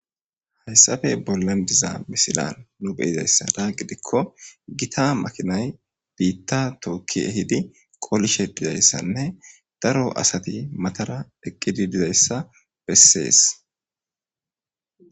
hayssafe bollan diza misilan nu beyizayssada gidikko gita makinay biitta tookki ehidi qolishe dizayssanne daro asati matara eqqidi dizayssa bessees